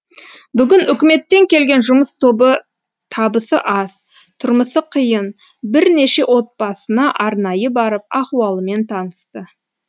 бүгін үкіметтен келген жұмыс тобы табысы аз тұрмысы қиын бірнеше отбасына арнайы барып ахуалымен танысты